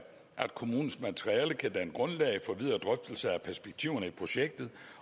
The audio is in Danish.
at kommunens materiale kan danne grundlag for videre drøftelser af perspektiverne i projektet